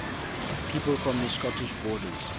people from the scottish borders